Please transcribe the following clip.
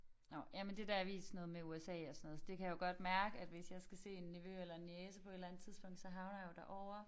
Nåh jamen det der er vist noget med USA og sådan noget så det kan jeg jo godt mærke at hvis jeg skal se en nevø eller en niece på et eller andet tidspunkt så havner jeg jo derovre